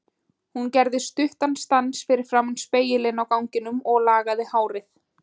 Hún gerði stuttan stans fyrir framan spegilinn á ganginum og lagaði hárið.